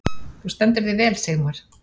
Þú stendur þig vel, Sigmar!